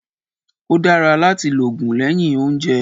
Ó dára láti lògùn lẹ́yìn óúnjẹ